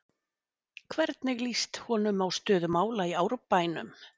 Hvernig lýst honum á stöðu mála í Árbænum?